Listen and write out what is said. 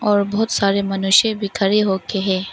और बहोत सारे मनुष्य भी खडे होके हे।